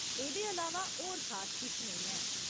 एह्दे अलावा होर खास किश नेईं ऐ।